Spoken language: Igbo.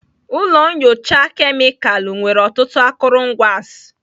Ụlọ nyocha kemịkalụ nwere ọtụtụ akụrụngwa s